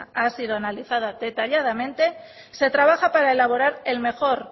ha sido analizada detalladamente se trabaja para elaborar el mejor